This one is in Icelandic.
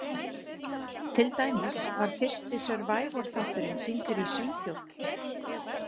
Til dæmis var fyrsti Survivor-þátturinn sýndur í Svíþjóð.